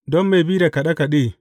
Don mai bi da kaɗe kaɗe.